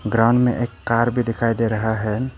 Ground में एक car भी दिखाई दे रहा है।